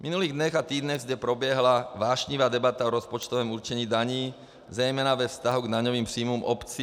V minulých dnech a týdnech zde proběhla vášnivá debata o rozpočtovém určení daní, zejména ve vztahu k daňovým příjmům obcí.